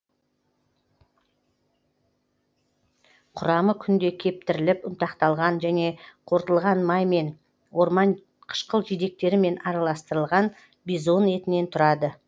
құрамы күнде кептіріліп ұнтақталған және қорытылған май мен орман қышқыл жидектерімен араластырылған бизон етінен тұрады